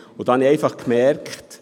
Ich habe Folgendes bemerkt: